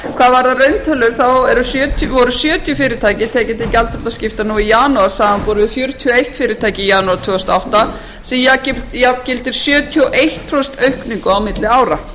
varðar rauntölur þá voru sjötíu fyrirtæki tekin til gjaldþrotaskipta nú í janúar samanborið við fjörutíu og eitt fyrirtæki í janúar tvö þúsund og átta það jafngildir sjötíu og eitt prósent aukningu á milli ára